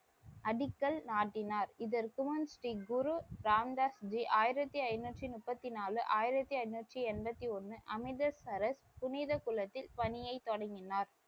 அடிக்கல் நாட்டினார். இதற்குமுன் ஸ்ரீ குரு ராம்தாஸ் ஜி ஆயிரத்தி ஐநூற்றி முப்பத்தி நான்கு ஆயிரத்தி ஐநூற்றி எண்பத்தி ஒன்னு அமிர்தசரஸ் புனித குளத்தின் பணியை தொடங்கினார்.